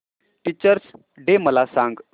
teachers day मला सांग